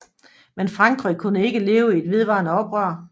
Men Frankrig kunne ikke leve i et vedvarende oprør